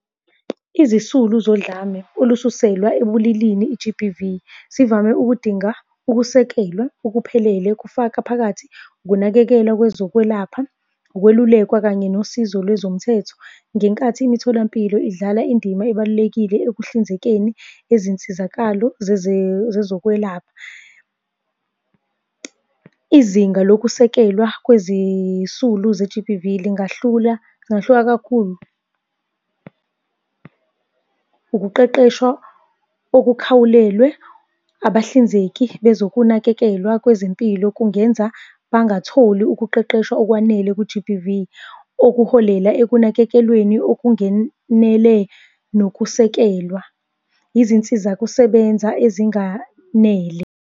Izisulu zodlame olususelwa ebulilini i-G_B_V sivame ukudinga ukusekelwa okuphelele, kufaka phakathi ukunakekelwa kwezokwelapha, ukwelulekwa kanye nosizo lwezomthetho ngenkathi imitholampilo idlala indima ebalulekile ekuhlinzekeni ezinsizakalo zezokwelapha. Izinga lokusekelwa kwezisulu ze-G_B_V lingahlula lingahluka kakhulu. Ukuqeqeshwa okukhawulelwe abahlinzeki bezokunakekelwa kwezempilo okungenza bangatholi ukuqeqeshwa okwanele ku-G_B_V, okuholela ekunakekelweni okungenele nokusekelwa izinsiza kusebenza ezinganele.